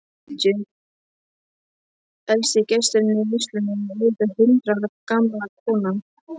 Elsti gesturinn í veislunni er auðvitað hundrað ára gamla konan.